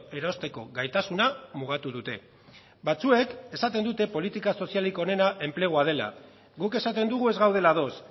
erosteko gaitasuna mugatu dute batzuek esaten dute politika sozialik onena enplegua dela guk esaten dugu ez gaudela ados